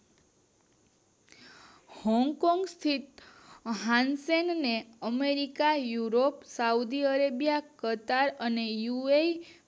Hong Kong સ્થિત હાઉનસેનને America, Europe, South Arabia, કરતાર અને યૂઉરેય